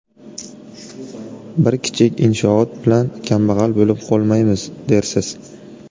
Bir kichik inshoot bilan kambag‘al bo‘lib qolmaymiz, dersiz.